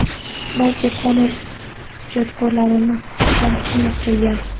balki qonun ijodkorlarini ham qiynab kelgan.